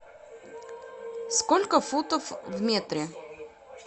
сколько футов в метре